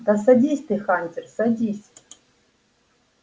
да садись ты хантер садись